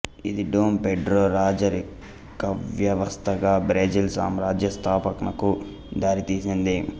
ఇది Dom Pedro రాజరికవ్యవస్థగా Brazil సామ్రాజ్య స్థాపనకు దారితీసింది